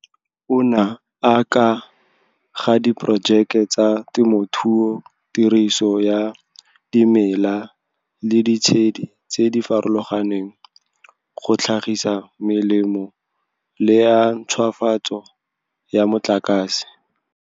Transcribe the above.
Ona a ka ga diporojeke tsa temothuo, tiriso ya dimela le ditshedi tse di farologaneng go tlhagisa melemo le a ntšhwafatso ya motlakase.